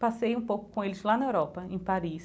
Passei um pouco com eles lá na Europa, em Paris.